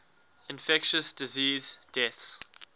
infectious disease deaths